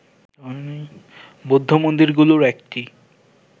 বৌদ্ধ মন্দিরগুলির একটি